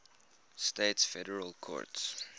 states federal courts